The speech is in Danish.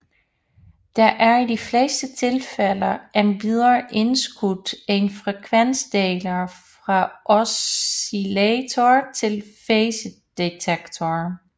Der er i de fleste tilfælde endvidere indskudt en frekvensdeler fra oscillator til fasedetektor